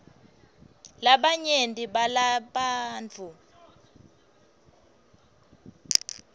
labanyenti balabantfu